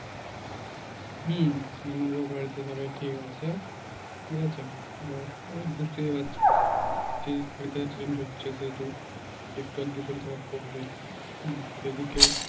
হম আমারও বাড়িতে সবাই ঠিক আছে, ঠিক আছে? এবার এই বুঝতেই পারছিস weather change হচ্ছে সেহেতু একটু আধটু শরীর খারাপ করবেই উম এদিকে